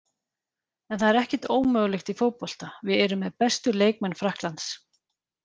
En það er ekkert ómögulegt í fótbolta, við erum með bestu leikmenn Frakklands.